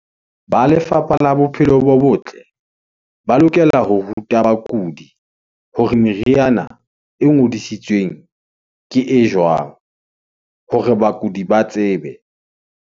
Ba lefapha la bophelo bo botle , ba lokela ho ruta bakudi hore meriana e ngodisitsweng, ke e jwang hore bakudi ba tsebe.